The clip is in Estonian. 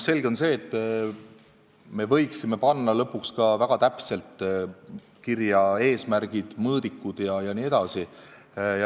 Selge on, et me võiksime panna lõpuks ka väga täpselt kirja eesmärgid, mõõdikud jne.